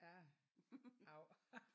Ja av